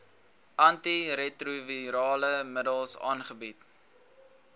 antiretrovirale middels aangebied